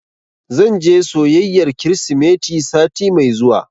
Zan je soyayyar Kirsimeti sati mai zuwa.